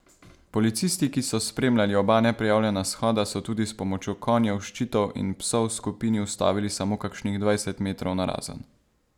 Policisti, ki so spremljali oba neprijavljena shoda, so tudi s pomočjo konjev, ščitov in psov skupini ustavili samo kakšnih dvajset metrov narazen.